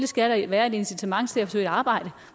skal være et incitament til at søge arbejde